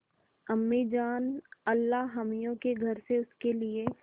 अम्मीजान अल्लाहमियाँ के घर से उसके लिए